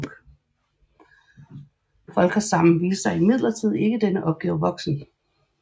Folckersam viste sig imidlertid ikke denne opgave voksen